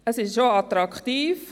Sie ist auch attraktiv.